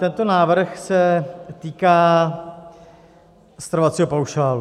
Tento návrh se týká stravovacího paušálu.